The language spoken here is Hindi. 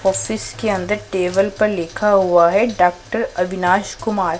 ऑफिस के अंदर टेबल पर लिखा हुआ है डॉक्टर अविनाश कुमार--